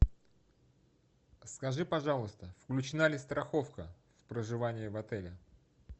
скажи пожалуйста включена ли страховка в проживание в отеле